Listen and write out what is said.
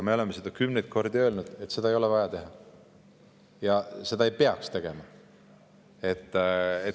Me oleme seda kümneid kordi öelnud, et seda ei ole vaja teha ja et seda ei peaks tegema.